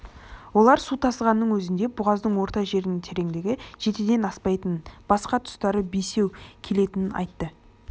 олар су тасығанның өзінде бұғаздың орта жерінің тереңдігі жетіден аспайтынын басқа тұстары бесеу келетінін айтты